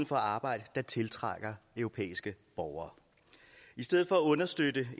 for at arbejde der tiltrækker europæiske borgere i stedet for at understøtte